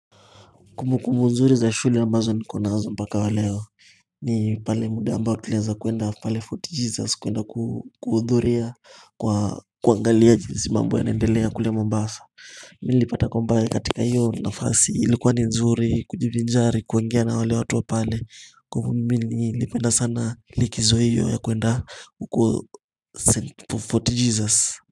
Kumbukumbu nzuri za shule ambazo niko nazo mpaka waleo ni pale mda ambao tulieza kuenda pale Fort Jesus kuenda kuu kuhudhuria kwa kuangalia jinsi mambo yanaendelea kule mombasa nilipata kwamba katika hiyo nafasi ilikuwa ni nzuri kujivinjari kuongea na wale watu wa pale kwa hivo mimi ni nilipenda sana likizo hiyo ya kuenda huko Fort Jesus.